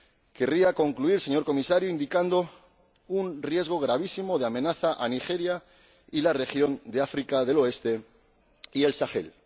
Querría concluir, señor Comisario, indicando un riesgo gravísimo de amenaza a Nigeria y a la región del África del Oeste y del Sáhel.